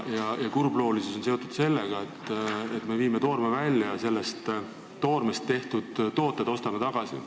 Asja kurbloolisus on seotud sellega, et me viime toorme välja ja sellest toormest tehtud tooted ostame tagasi.